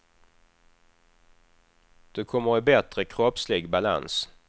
Du kommer i bättre kroppslig balans.